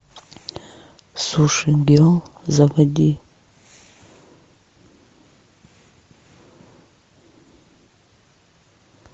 суши герл заводи